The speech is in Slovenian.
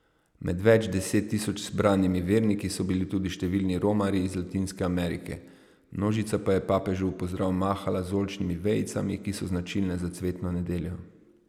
Med več deset tisoč zbranimi verniki so bili tudi številni romarji iz Latinske Amerike, množica pa je papežu v pozdrav mahala z oljčnimi vejicami, ki so značilne za cvetno nedeljo.